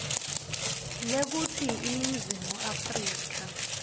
lekutsi iningizimu afrika